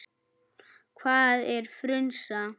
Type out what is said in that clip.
Hvað er frunsa?